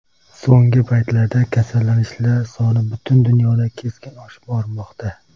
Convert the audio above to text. So‘nggi paytlarda kasallanishlar soni butun dunyoda keskin oshib bormoqda.